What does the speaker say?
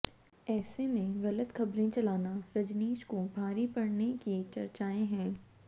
ऐसे में गलत खबरें चलाना रजनीश को भारी पड़ने की चर्चाएं हैं